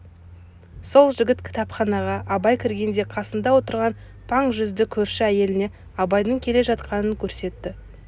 сол жігіт кітапханаға абай кіргенде қасында отырған паң жүзді көрші әйеліне абайдың келе жатқанын көрсетті